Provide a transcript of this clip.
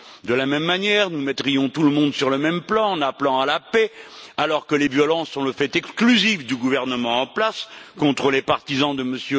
De la même manière, nous mettrions tout le monde sur le même plan, en appelant à la paix, alors que les violences sont le fait exclusif du gouvernement en place contre les partisans de M.